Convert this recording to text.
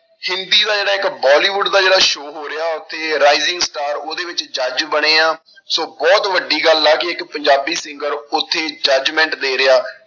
ਹਿੰਦੀ ਦਾ ਜਿਹੜਾ ਇੱਕ ਬੋਲੀਵੁਡ ਦਾ ਜਿਹੜਾ show ਹੋ ਰਿਹਾ ਉੱਥੇ rising star ਉਹਦੇ ਵਿੱਚ judge ਬਣਿਆ, ਸੋ ਬਹੁਤ ਵੱਡੀ ਗੱਲ ਆ ਕਿ ਇੱਕ ਪੰਜਾਬੀ singer ਉੱਥੇ judgement ਦੇ ਰਿਹਾ।